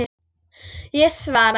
Ég svaraði ekki.